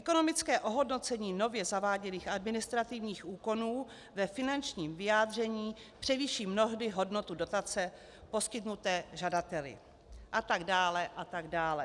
Ekonomické ohodnocení nově zaváděných administrativních úkonů ve finančním vyjádření převýší mnohdy hodnotu dotace poskytnuté žadateli, a tak dále a tak dále.